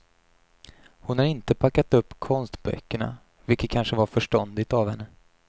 Hon har inte packat upp konstböckerna, vilket kanske var förståndigt av henne.